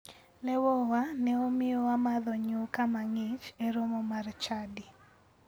Lewowa ne omiyo wamadho nyuka mang'ich e romo mar chadi.